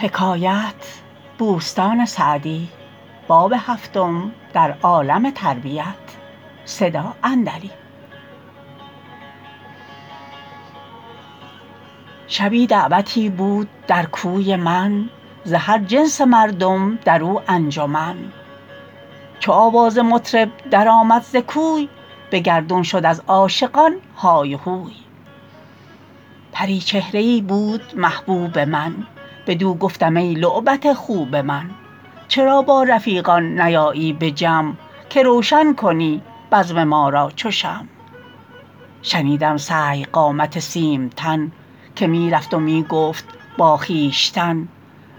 شبی دعوتی بود در کوی من ز هر جنس مردم در او انجمن چو آواز مطرب در آمد ز کوی به گردون شد از عاشقان های و هوی پریچهره ای بود محبوب من بدو گفتم ای لعبت خوب من چرا با رفیقان نیایی به جمع که روشن کنی بزم ما را چو شمع شنیدم سهی قامت سیم تن که می رفت و می گفت با خویشتن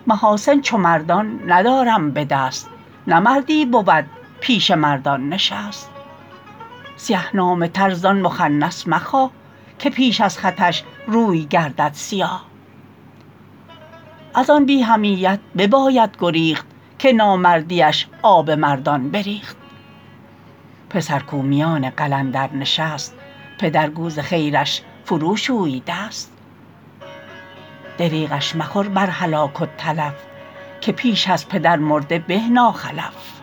محاسن چو مردان ندارم به دست نه مردی بود پیش مردان نشست سیه نامه تر زآن مخنث مخواه که پیش از خطش روی گردد سیاه از آن بی حمیت بباید گریخت که نامردیش آب مردان بریخت پسر کاو میان قلندر نشست پدر گو ز خیرش فرو شوی دست دریغش مخور بر هلاک و تلف که پیش از پدر مرده به ناخلف